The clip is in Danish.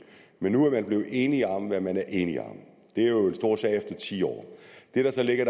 men nu er man blevet enig om hvad man er enig om det er jo en stor sag efter ti år det der så ligger